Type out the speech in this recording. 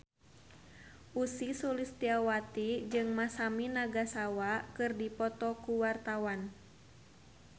Ussy Sulistyawati jeung Masami Nagasawa keur dipoto ku wartawan